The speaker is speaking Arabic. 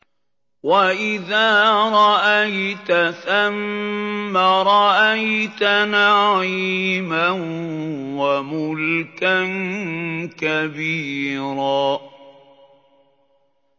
وَإِذَا رَأَيْتَ ثَمَّ رَأَيْتَ نَعِيمًا وَمُلْكًا كَبِيرًا